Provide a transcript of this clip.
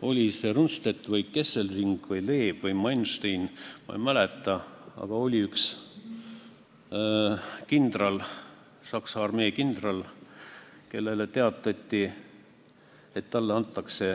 Oli see Rundstedt või Kesselring või Leeb või Manstein, ma ei mäleta, aga oli üks Saksa armee kindral, kellele teatati, et talle antakse